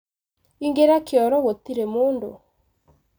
ingĩra kioro gũtĩrĩ mũndũ.